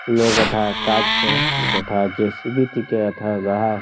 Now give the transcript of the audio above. লোগ ধে কাজ করে যথা আছে সিবিটিকে রাখা রাহা।